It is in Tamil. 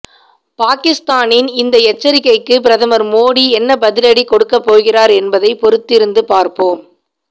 பாகிஸ்தானின் இந்த எச்சரிக்கைக்கு பிரதமர் மோடி என்ன பதிலடி கொடுக்கப்போகிறார் என்பதை பொறுத்திருந்து பார்ப்போம்